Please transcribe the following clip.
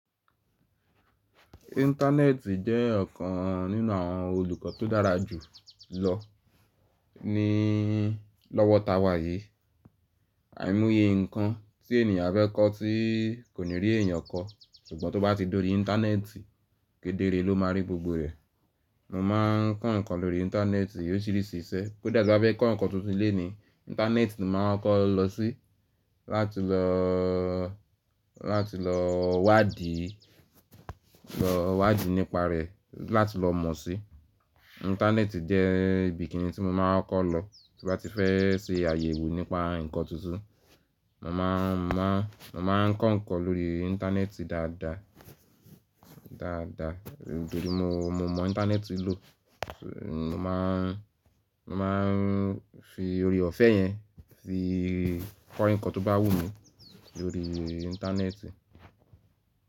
Íńtánẹ́ẹ̀tì jẹ́ ọ̀kan nínú àwọn olùkọ́ tó dára jù lọ ní lọ́wọ́ ta wa yìí. Àìmoye nǹkan tí ènìyàn á fe kọ́ tí kò ní rí èèyàn kọ́, ṣùgbọ́n tó bá ti dorí Íńtánẹ́ẹ̀tì kedere ló máa rí gbogbo rẹ̀. Mo máa ń kọ́ ǹnkan lórí Íńtánẹ́ẹ̀tì óriṣìirísí iṣẹ́. Koda ti n bá fẹ́ kọ́ nnkan tuntun léni, Íńtánẹ́ẹ̀tì ni màá kóko lọ sí láti lọ, láti lọ wádìí, lọ wádìí nípa rẹ̀, láti lọ mọ̀ si. Íńtánẹ́ẹ̀tì jẹ́ ibi kìnni tí mo máa ń kokọ́ lọ tí mo bá ti fẹ́ ṣe àyẹ̀wò nípa nnkan tuntun. Mo máa ń má, mo máa ń kọ́ nnkan lórí Íńtánẹ́ẹ̀tì dáadáa, dáadáa nítorí mo, mo mọ Íńtánẹ́ẹ̀tì lò. Mo má ń, mo má ń fi oore ọ̀fẹ́ yẹn fi kọ́ ǹnkan tó bá wù mí lórí Íńtánẹ́ẹ̀tì.